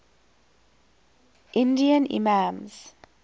indian imams